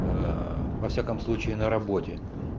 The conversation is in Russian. аа во всяком случае на раоте